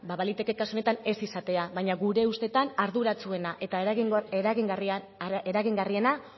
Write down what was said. ba baliteke kasu honetan ez izatea baina gure ustetan arduratsuena eta eragingarriena